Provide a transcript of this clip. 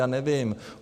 Já nevím.